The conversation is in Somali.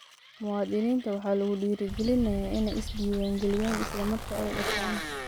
Muwaadiniinta waxaa lagu dhiirigelinayaa inay is-diiwaangeliyaan isla marka ay dhashaan.